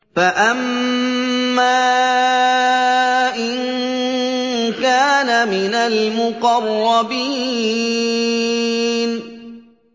فَأَمَّا إِن كَانَ مِنَ الْمُقَرَّبِينَ